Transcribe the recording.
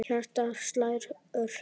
Hjartað slær ört.